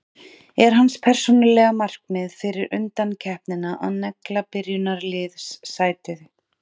Er hans persónulega markmið fyrir undankeppnina að negla byrjunarliðssæti?